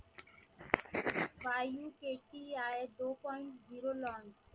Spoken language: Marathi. YUKTI two point zero launch